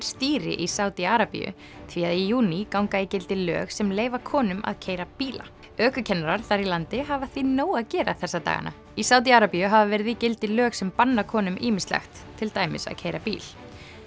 stýri í Sádi Arabíu því að í júní ganga í gildi lög sem leyfa konum að keyra bíla ökukennarar þar í landi hafa því nóg að gera þessa dagana í Sádi Arabíu hafa verið í gildi lög sem banna konum ýmislegt til dæmis að keyra bíl